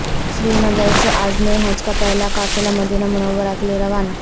سری نگر سے عازمین حج کا پہلا قافلہ مدینہ منورہ کیلئے روانہ